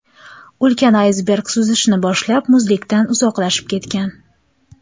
Ulkan aysberg suzishni boshlab, muzlikdan uzoqlashib ketgan.